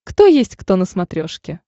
кто есть кто на смотрешке